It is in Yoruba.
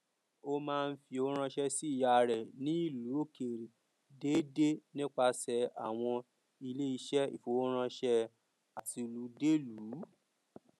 ó máa n fí owó ránṣẹ sí ìyá rẹ ní ìlu òkèèrè déédé nípasẹ àwọn iléeṣẹ ìfowóránṣẹ àtilúdélùú